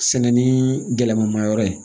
Sɛnɛ ni gɛlɛman ma yɔrɔ ye